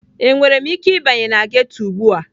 Enwere m ike ịbanye na ghetọ ugbu a?